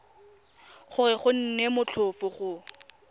gore go nne motlhofo go